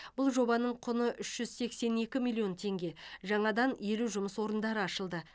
бұл жобаның құны үш жүз сексен екі миллион теңге жаңадан елу жұмыс орындары ашылды